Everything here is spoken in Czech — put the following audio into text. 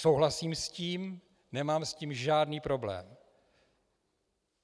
Souhlasím s tím, nemám s tím žádný problém.